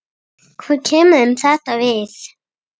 Hvað kemur þeim þetta við?